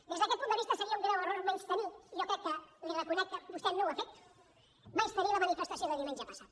des d’aquest punt de vista seria un greu error menystenir jo crec que li reconec que vostè no ho ha fet la manifestació de diumenge passat